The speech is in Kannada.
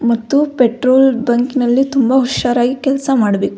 ಮತ್ತು ಪೆಟ್ರೋಲ್ ಬಂಕ್ ನಲ್ಲಿ ತುಂಬ ಹುಷರಾಗಿ ಕೆಲ್ಸ ಮಾಡ್ಬೇಕು.